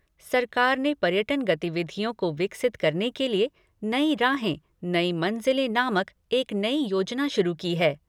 सरकार ने पर्यटन गतिविधियों को विकसित करने के लिए नई राहें नई मंजिलें नामक एक नई योजना शुरू की है।